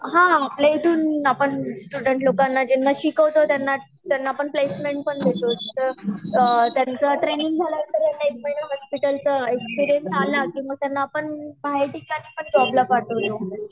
हा आपल्या ईथुन आपण स्टूडेंट लोकांना ज्यांना शिकवतो त्यांना आपण प्लेसमेंट पण देतो, त्याचं ट्रेनिंग झाल तर त्यांना एक महिना हॉस्पिटल चा एक्सपिरियन्स आला तर त्यांना आपण बाहेर ठिकाणी पण जॉब ला पाठवतो